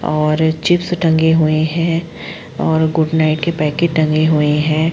और चिप्स टंगे हुए हैं और गुड नाइट के पैकेट टंगे हुए हैं।